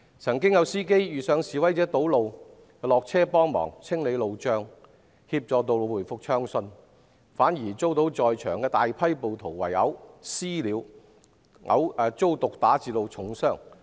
曾經有司機遇上示威者堵路，便下車清理路障，協助道路回復暢順，卻反遭在場的大批暴徒"私了"，圍毆毒打至重傷。